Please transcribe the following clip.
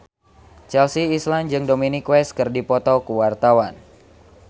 Chelsea Islan jeung Dominic West keur dipoto ku wartawan